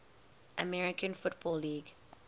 american football league